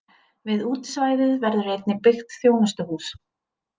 Við útisvæðið verður einnig byggt þjónustuhús.